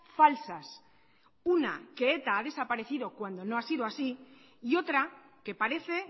falsas una que eta ha desaparecido cuando no ha sido así y otra que parece